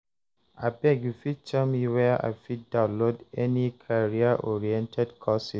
abeg you fit tell me where I fit download any career-oriented courses